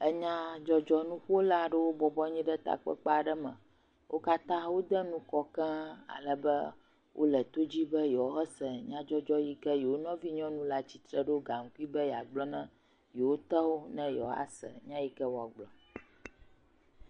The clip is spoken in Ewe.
Enua dzɔdzɔm nuƒola aɖewo bɔbɔ nɔ anyi ɖe takpekpea ɖe me. Wo katã wò ɖe nufɔ keŋ eye wole to dzi be yeawɔ se nyaa dzɔdzɔ la si ye wò nɔvi si ɖo gankui la tsitre be yewoa gblɔ nawo, yewo tɔ na be yewoa gblɔ nya yike wòa gblɔ.